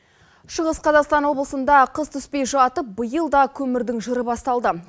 шығыс қазақстан облысыныда қыс түспей жатып биыл да көмірдің жыры басталды